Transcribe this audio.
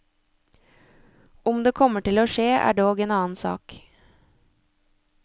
Om det kommer til å skje, er dog en annen sak.